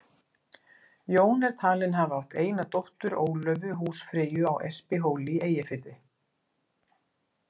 Jón er talinn hafa átt eina dóttur, Ólöfu, húsfreyju á Espihóli í Eyjafirði.